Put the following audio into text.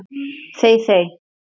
Þey þey!